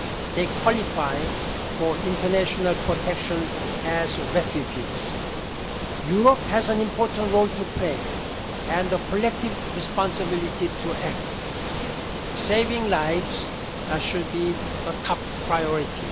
They qualify for international protection as refugees. Europe has an important role to play and a collective responsibility to act. Saving lives should be the top priority.